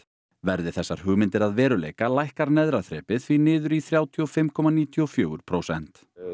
verði þessar hugmyndir að veruleika lækkar neðra þrepið því niður í þrjátíu og fimm komma níutíu og fjögur prósent